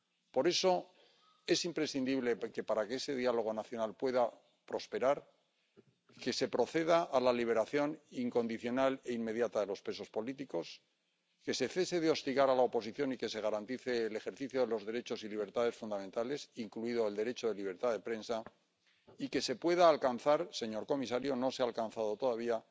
Por eso es imprescindible que, para que ese diálogo nacional pueda prosperar, se proceda a la liberación incondicional e inmediata de los presos políticos, que se cese de hostigar a la oposición y que se garantice el ejercicio de los derechos y libertades fundamentales, incluido el derecho de libertad de prensa, y que se pueda alcanzar, señor comisario —no se ha alcanzado todavía—,